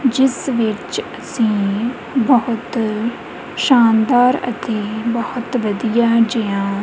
ਜਿਸ ਵਿੱਚ ਅਸੀਂ ਬਹੁਤ ਸ਼ਾਨਦਾਰ ਅਤੇ ਬਹੁਤ ਵਧੀਆ ਜਿਹਾ--